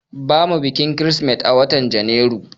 bamu bikin krismeti a watan janairu